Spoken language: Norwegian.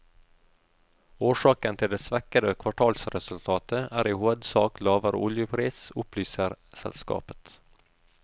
Årsaken til det svekkede kvartalsresultatet er i hovedsak lavere oljepris, opplyser selskapet.